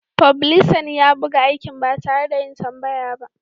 Fublisan ya buga aikin ba tare da yin tambaya ba.